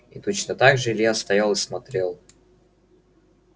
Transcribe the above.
и точно так же илья стоял и смотрел